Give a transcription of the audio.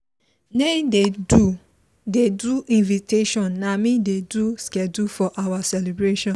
naim dey do dey do invitation na me dey do schedule for our celebration